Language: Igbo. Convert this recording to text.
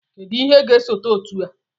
Kedụ ihe ga-esote otu a?